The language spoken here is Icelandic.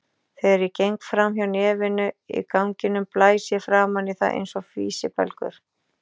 Þegar ég geng fram hjá nefinu í ganginum blæs ég framan í það einsog físibelgur.